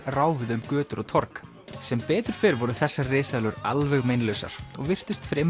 ráfuðu um götur og torg sem betur fer voru þessar risaeðlur alveg meinlausar og virtust fremur